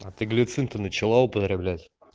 а ты глицин-то начала употреблять